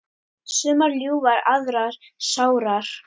Sumar ljúfar aðrar sárar.